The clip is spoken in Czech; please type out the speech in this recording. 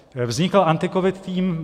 Vznikl AntiCovid tým.